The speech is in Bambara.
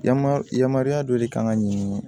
Yama yamaruya dɔ de kan ka ɲin